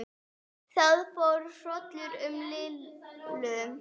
Það fór hrollur um Lillu.